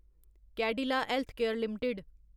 Cadila Healthcare limited